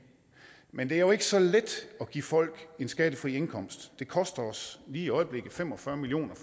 men det er jo ikke så let at give folk en skattefri indkomst det koster os lige i øjeblikket fem og fyrre million